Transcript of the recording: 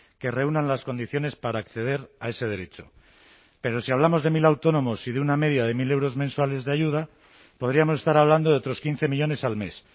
que reúnan las condiciones para acceder a ese derecho pero si hablamos de mil autónomos y de una media de mil euros mensuales de ayuda podríamos estar hablando de otros quince millónes al mes